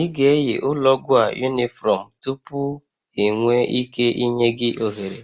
Ị ga-eyi ụlọ ọgwụ a unifrom tupu enwee ike ịnye gị ohere